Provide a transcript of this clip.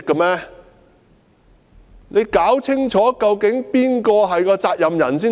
他要弄清楚究竟誰要負責任才行。